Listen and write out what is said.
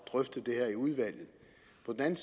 så kan